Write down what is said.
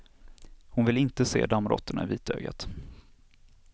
Hon vill inte se dammråttorna i vitögat.